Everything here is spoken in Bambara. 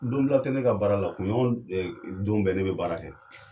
Donbila tɛ ne ka baara la, kunɲɔkɔn ɛɛ don bɛɛ ne be baara kɛ.